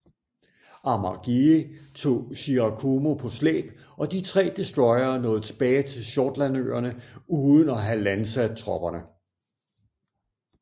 Amagiri tog Shirakumo på slæb og de tre destroyere nåede tilbage til Shortlandøerne uden at have landsat tropperne